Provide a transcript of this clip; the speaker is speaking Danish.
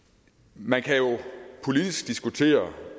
man kan jo politisk diskutere